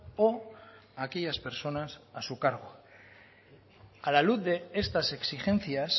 o a aquellas personas a su cargo a la luz de estas exigencias